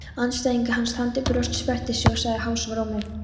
Andstæðingur hans þandi brjóst, sperrti sig og sagði hásum rómi